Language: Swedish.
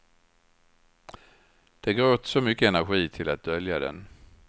Det går åt så mycket energi till att dölja den.